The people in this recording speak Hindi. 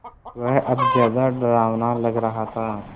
वह अब ज़्यादा डरावना लग रहा था